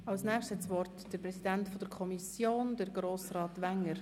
Für die SiK spricht deren Präsident, Grossrat Wenger.